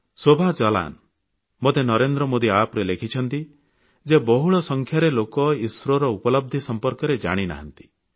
ଶୋଭା ଜଲାନ୍ ମୋତେ ନରେନ୍ଦ୍ର ମୋଦୀ App ରେ ଲେଖିଛନ୍ତି ଯେ ବହୁଳ ସଂଖ୍ୟାରେ ଲୋକ ଇସ୍ରୋ ର ଉପଲବଧି ସମ୍ପର୍କରେ ଜାଣିନାହାନ୍ତି